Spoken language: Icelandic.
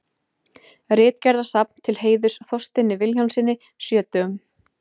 Ritgerðasafn til heiðurs Þorsteini Vilhjálmssyni sjötugum.